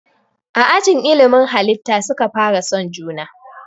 A ajin ilimin halitta suka fara son juna